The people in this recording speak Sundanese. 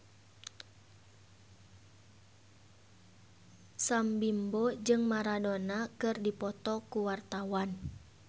Sam Bimbo jeung Maradona keur dipoto ku wartawan